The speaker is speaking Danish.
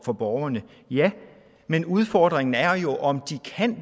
for borgerne ja men udfordringen er jo om